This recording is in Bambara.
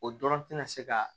O dɔrɔn tɛna se ka